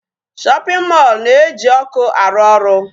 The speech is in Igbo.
Shopping mall na-eji ọkụ arụ ọrụ.